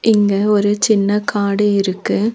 இங்க ஒரு சின்ன காடு இருக்கு.